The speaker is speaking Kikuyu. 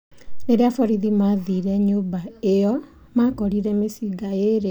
Rĩrĩa borithi maathire nyũmba ĩyo makorire mĩcinga ĩrĩ na mbeca mũigana wa ndora ngiri mĩrongo ĩtatũ.